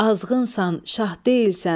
Azğnsan, şah deyilsən.